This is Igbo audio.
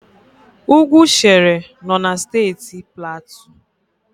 Ugwu Shere nọ na Steeti Platu.